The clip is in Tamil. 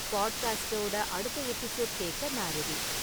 பாட்காஸ்டோட அடுத்த எபிசோட கேட்க நா ரெடி